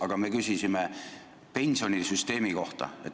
Aga me küsisime pensionisüsteemi kohta.